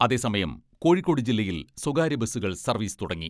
അതേസമം കോഴിക്കോട് ജില്ലയിൽ സ്വകാര്യബസുകൾ സർവീസ് തുടങ്ങി.